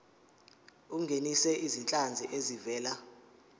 ungenise izinhlanzi ezivela